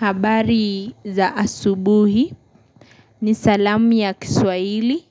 Habari za asubuhi ni salamu ya kiswahili